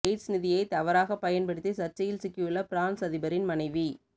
எஸ்ட்ஸ் நிதியை தவறாகப் பயன்படுத்தி சர்ச்சையில் சிக்கியுள்ள பிரான்ஸ் அதிபரின் மனைவி